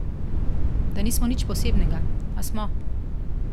Da nismo nič posebnega, a smo.